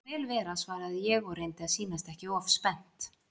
Það má vel vera svaraði ég og reyndi að sýnast ekki of spennt.